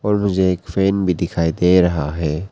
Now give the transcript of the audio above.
और मुझे एक फैन भी दिखाई दे रहा है।